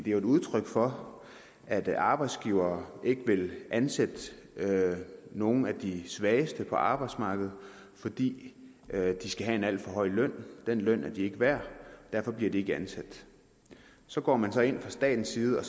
jo et udtryk for at arbejdsgivere ikke vil ansætte nogle af de svageste på arbejdsmarkedet fordi de skal have en alt for høj løn den løn er de ikke værd og derfor bliver de ikke ansat så går man så ind fra statens side